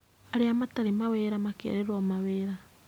Arĩa matarĩ mawĩra makerĩrwo mawĩra